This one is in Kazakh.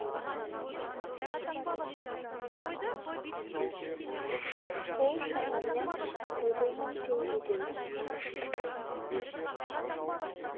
бұл шамамен елу мың теңгедей